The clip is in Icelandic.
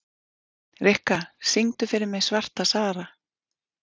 Rikka, syngdu fyrir mig „Svarta Sara“.